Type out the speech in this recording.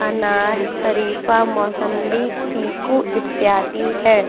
अनार शरीफा मौसम्बी चीकू इत्यादि हैं।